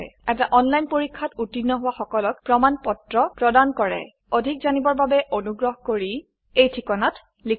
এটা অনলাইন পৰীক্ষাত উত্তীৰ্ণ হোৱা সকলক প্ৰমাণ পত্ৰ প্ৰদান কৰে অধিক জানিবৰ বাবে অনুগ্ৰহ কৰি contactspoken tutorialorg এই ঠিকনাত লিখক